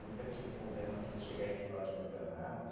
Nunca tive problema assim de chegar em final de campeonato.